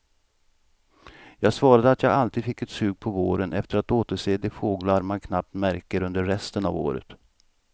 Jag svarade att jag alltid fick ett sug på våren efter att återse de fåglar man knappt märker under resten av året.